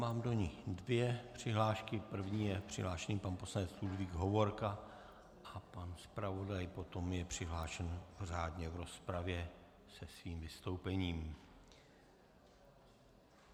Mám do ní dvě přihlášky, první je přihlášený pan poslanec Ludvík Hovorka a pan zpravodaj potom je přihlášen řádně v rozpravě se svým vystoupením.